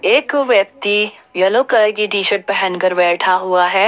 एक व्यक्ति yellow colour की टी शर्ट पहनकर बैठा हुआ है।